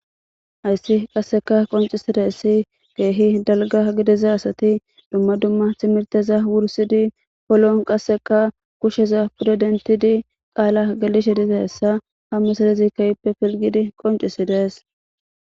hayssi qasseka qoncisideessi geehi dalga gidiza asati dumma dumma timirteza wursidi poloon qasseka kusheza pudo dentidi qaala galishe diza hessa hammusadezikayippe filgidi qoncisidees